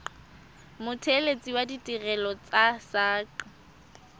mothelesi wa ditirelo tsa saqa